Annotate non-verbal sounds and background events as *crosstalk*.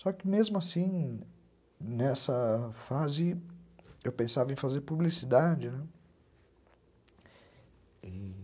*cries* Só que, mesmo assim, nessa fase, eu pensava em fazer publicidade, né.